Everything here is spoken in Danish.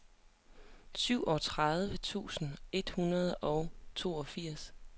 syvogtredive tusind et hundrede og toogfirs